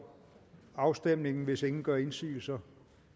afstemningen hvis ingen gør indsigelse